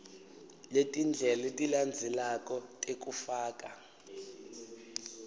letindlela letilandzelako tekufaka